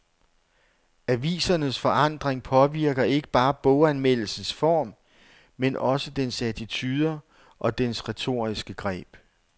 Avisernes forandring påvirker ikke bare boganmeldelsens form, men også dens attituder og dens retoriske greb.